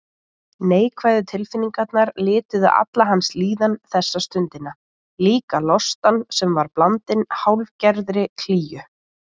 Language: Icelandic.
Neikvæðu tilfinningarnar lituðu alla hans líðan þessa stundina, líka lostann sem var blandinn hálfgerðri klígju.